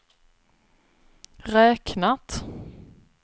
räknat